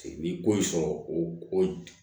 Ni ko in sɔrɔ o